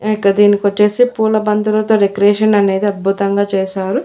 In కా దీనికి వచ్చేసి పూల బంధులతో డెకరేషన్ అనేది అద్భుతంగా చేశారు.